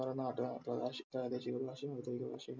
പ്രാദേശിക ഭാഷയും ഔദ്യോദിഗ ഭാഷയും